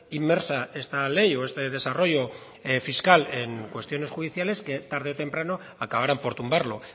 inmersa esta ley o este desarrollo fiscal en cuestiones judiciales que tarde o temprano acabarán por tumbarlo